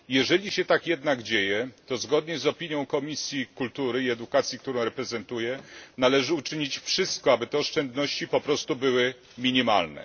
Jeżeli się tak jednak dzieje, to zgodnie z opinią Komisji Kultury i Edukacji, którą reprezentuję, należy uczynić wszystko, aby te oszczędności były minimalne.